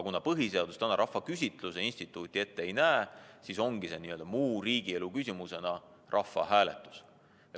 Kuna põhiseadus täna rahvaküsitluse instituuti ette ei näe, siis ongi meil n-ö muu riigielu küsimusena korraldatav rahvahääletus.